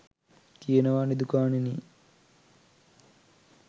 කියනවා නිදුකාණෙනි